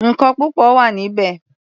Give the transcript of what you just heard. Nǹkan púpọ̀ wà níbẹ̀.